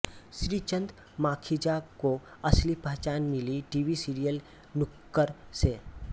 श्रीचंद माखीजा को असली पहचान मिली टीवी सीरियल नुक्कड़ से